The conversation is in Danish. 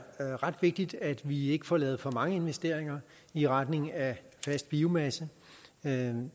ret vigtigt at vi ikke får lavet for mange investeringer i retning af fast biomasse det